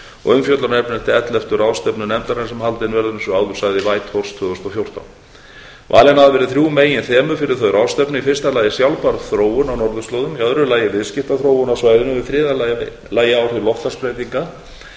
og umfjöllunarefni elleftu ráðstefnu nefndarinnar sem haldin verður eins og áður sagði í whitehorse tvö þúsund og fjórtán valin hafa verið þrjú meginþemu fyrir þá ráðstefnu í fyrsta lagi sjálfbær þróun á norðurslóðum í öðru lagi viðskiptaþróun á svæðinu og í þriðja lagi áhrif loftslagsbreytinga